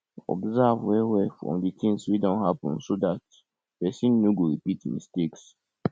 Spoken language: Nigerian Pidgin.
observe well well from di thing wey don happen so dat person no go repeat mistakes